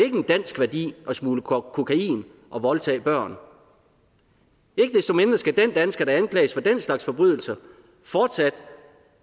en dansk værdi at smugle kokain og voldtage børn ikke desto mindre skal den dansker der anklages for den slags forbrydelser fortsat